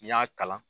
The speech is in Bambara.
N'i y'a kalan